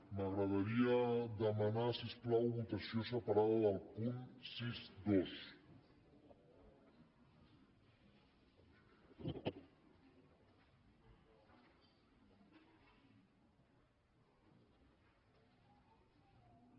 m’agradaria demanar si us plau votació separada del punt seixanta dos